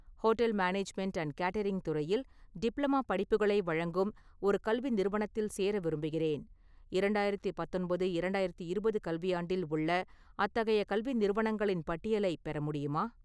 Hotel management and catering துறையில் diploma படிப்புகளை வழங்கும் ஒரு கல்வி நிறுவனத்தில் சேர விரும்புகிறேன், இரண்டாயிரத்தி பத்தொன்பது- இரண்டாயிரத்தி இருபது கல்வியாண்டில் உள்ள அத்தகைய கல்வி நிறுவனங்களின் பட்டியலை பெற முடியுமா?